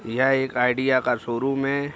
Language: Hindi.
यह एक आईडिया का शोरूम है।